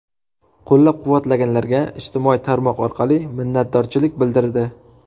Qo‘llab-quvvatlaganlarga ijtimoiy tarmoq orqali minnatdorchilik bildirdi.